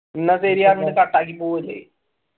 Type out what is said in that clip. cut ആക്കി പോകും ചെയ്യും